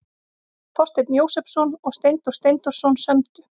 Þorsteinn Jósepsson og Steindór Steindórsson sömdu.